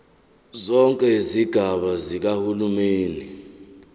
zonke izigaba zikahulumeni